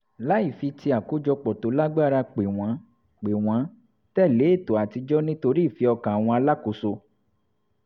láì fi ti àkójopò tó lágbára pè wọ́n pè wọ́n tẹ̀lé ètò àtijọ́ nítorí ìfẹ́ ọkàn àwọn alákòóso